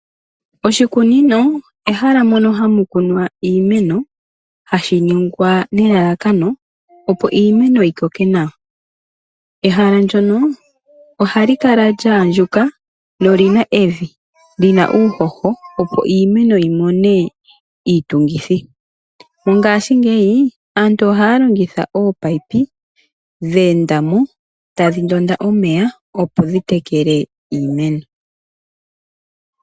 Oshikunino ehala mono hamu kunwa iimeno, hashi ningwa nelalakano opo iimeno yi koke nawa. Ehala ndyono ohali kala lyaandjuka nolina evi lyina uuhoho opo iimeno yimone iitungithi. Mongashingeyi aantu ohaya longitha ominino dhe enda mo tadhi ndonda omeya opo dhi tekele iimeno.